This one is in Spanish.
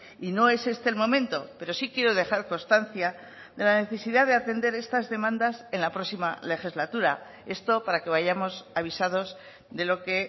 y no es este el momento pero sí quiero dejar constancia de la necesidad de atender estas demandas en la próxima legislatura esto para que vayamos avisados de lo que